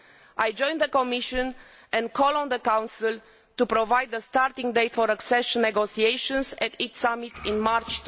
I join the Commission and call on the Council to provide a starting date for accession negotiations at its summit in March